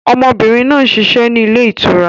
Ọmọbìnrin náà ń ṣiṣẹ́ ni ilé ìtura.